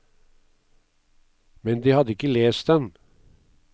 Men de hadde ikke lest den.